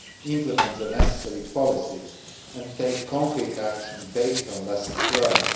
implement the necessary policies, and take concrete action based on lessons learned.